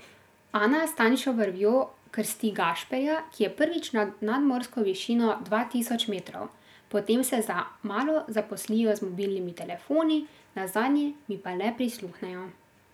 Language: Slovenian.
Ana s tanjšo vrvjo krsti Gašperja, ki je prvič nad nadmorsko višino dva tisoč metrov, potem se za malo zaposlijo z mobilnimi telefoni, nazadnje mi pa le prisluhnejo.